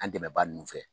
An dɛmɛbaa ninnu fɛ